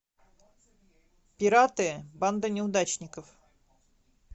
пираты банда неудачников